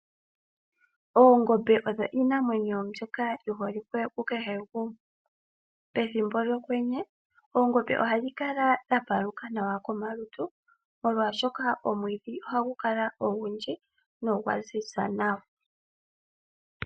Oongombe odho iinamwenyo mbyoka yiholike ku kehe gumwe . Pethimbo lyokwenye oongombe ohadhi kala dha paluka nawa komalutu . Molwaashoka omwiidhi ohagu kala ogundji nogwa ziza nawa.